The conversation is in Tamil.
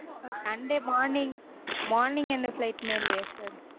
sunday morning morning எந்த flight மே இல்லையா sir